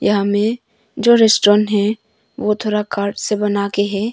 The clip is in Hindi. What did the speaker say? यहां में जो रेस्टोरेंट है वो थोड़ा कार्ड से बना के है।